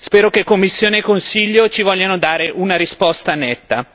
Spero che Commissione e Consiglio ci vogliano dare una risposta netta.